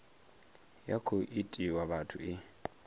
ya khou itiwa muthu e